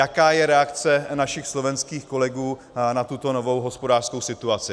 Jaká je reakce našich slovenských kolegů na tuto novu hospodářskou situaci?